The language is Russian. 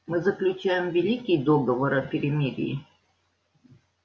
мы заключаем великий договор о перемирии